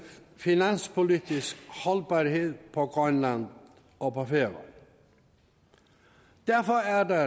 finanspolitisk holdbarhed på grønland og færøerne derfor er der